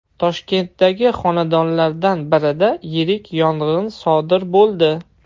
Toshkentdagi xonadonlardan birida yirik yong‘in sodir bo‘ldi .